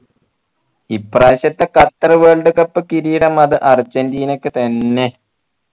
ഇപ്രാവശ്യത്തെ Qatar world cup കിരീടം അത് അർജൻറീനക്ക് തന്നെ